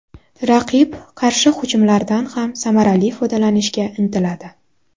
Raqib qarshi hujumlardan ham samarali foydalanishga intiladi.